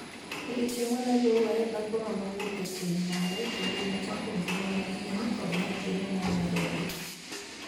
odiochieng' maneluwe, dhakono nowuok e keny mare, kendo nochako ngima manyien kod nyathine manyadendi.